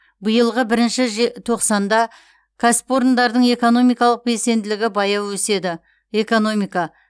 биылғы бірінші же тоқсанда кәсіпорындардың экономикалық белсенділігі баяу өседі экономика